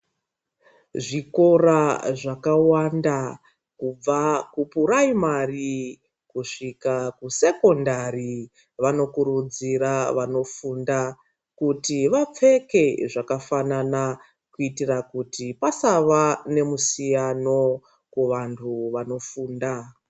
Zvikora zvakawanda kubva kupiraimari kusvika Kusekondari vanokurudzira vanozoita kuti vapfeke zvakafanana kuitira kuti vasafa nemusiyano kuvanhu vanofundayo.